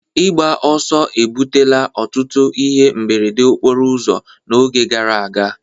Ịgba ọsọ ebutela ọtụtụ ihe mberede okporo ụzọ n'oge gara aga